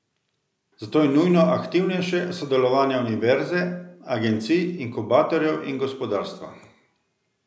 Zato je nujno aktivnejše sodelovanje univerze, agencij, inkubatorjev in gospodarstva.